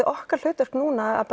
okkar hlutverk núna að